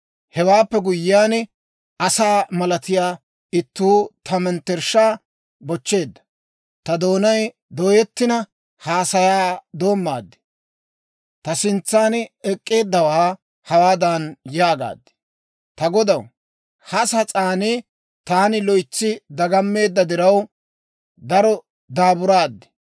Hewaappe guyyiyaan, asaa malatiyaa ittuu ta mettershshaa bochcheedda; ta doonay dooyettina, haasayaa doommaad. Ta sintsan ek'k'eeddawaa hawaadan yaagaad; «Ta godaw, ha sas'aan taani loytsi dagammeedda diraw, daro daaburaad.